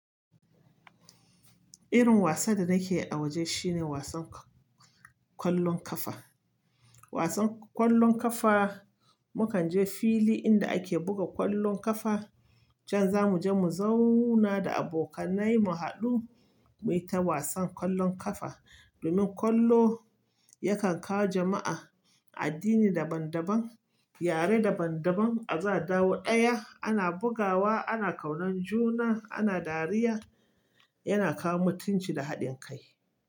Irin wasan da nake a waje shine wasan kwallon kafa. Wasan kwallon kafa mukan je fili inda ake buga kwallon kafa. Can zamu je mu zauna da abokanai mu haɗu muyi ta wasan kwallon kafa. Domin kwallo yakan kawo jama'a addini daban daban, yare daban daban a zata da wuya. Ana bugawa, ana kaunan juna, ana dariya. Yana kawo mutunci da haɗin kai.